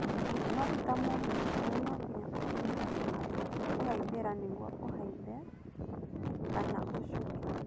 No-titamũgithi ũrĩa nonginya ũkinye handũ ha kũhaimbĩra nĩguo ũhaimbe kana ũcuke.